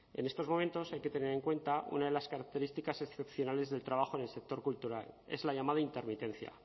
en estos momentos hay que tener en cuenta una de las características excepcionales del trabajo en el sector cultural es la llamada intermitencia